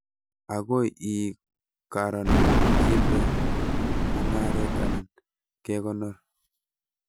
Ago ii karan kinde mung'aret anan kekonor